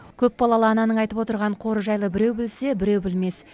көпбалалы ананың айтып отырған қоры жайлы біреу білсе біреу білмес